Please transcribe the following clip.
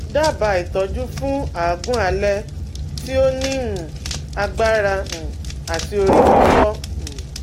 Dabaa itoju fun agun ale ti o ni um agbara um ati ori fifo um